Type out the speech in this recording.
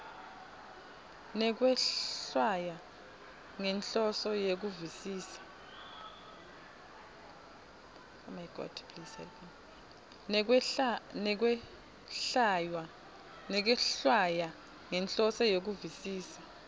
nekwehlwaya ngenhloso yekuvisisa